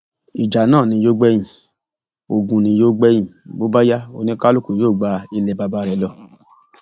ìjà náà ni yóò gbẹyìn ogun ni yóò gbẹyìn bó bá yá oníkálukú yóò gba ilẹ baba rẹ lọ